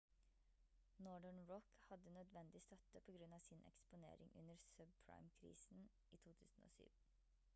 northern rock hadde nødvendig støtte på grunn av sin eksponering under subprime-krisen i 2007